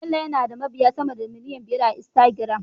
Bello yana da mabiya sama da miliyan biyar a Instagram